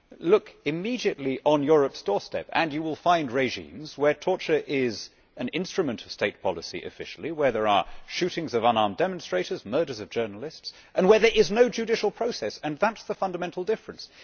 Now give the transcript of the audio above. Look immediately on Europe's doorstep and you will find regimes where torture is an instrument of state policy officially, where there are shootings of unarmed demonstrators, murders of journalists, and where there is no judicial process, and that is the fundamental difference.